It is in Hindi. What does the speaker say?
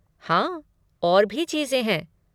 हाँ, और भी चीज़ें हैं।